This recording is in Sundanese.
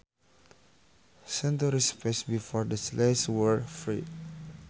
Centuries passed before the slaves were freed